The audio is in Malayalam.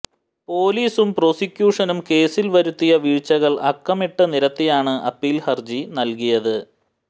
പൊലീസും പ്രോസിക്യൂഷനും കേസിൽ വരുത്തിയ വീഴ്ചകൾ അക്കമിട്ട് നിരത്തിയാണ് അപ്പീൽ ഹർജി നൽകിയത്